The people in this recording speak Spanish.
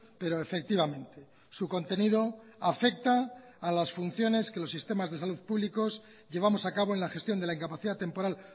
pero efectivamente su contenido afecta a las funciones que los sistemas de salud públicos llevamos a cabo en la gestión de la incapacidad temporal